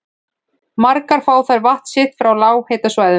Margar fá þær vatn sitt frá lághitasvæðum.